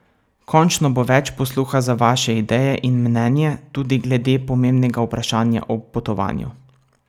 Končno bo več posluha za vaše ideje in mnenje, tudi glede pomembnega vprašanja o potovanju.